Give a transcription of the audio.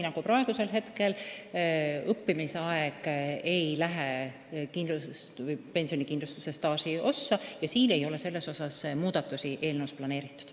Praegu ei lähe õppimise aeg pensionikindlustuse staažiosas arvesse ja selles osas muudatusi ei ole eelnõus plaanitud.